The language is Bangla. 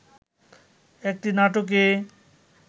একটি নাটকে